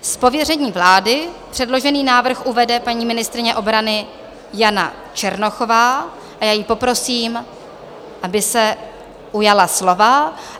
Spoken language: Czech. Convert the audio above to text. Z pověření vlády předložený návrh uvede paní ministryně obrany Jana Černochová a já ji poprosím, aby se ujala slova.